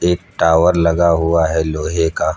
Tower लगा हुआ है लोहे का।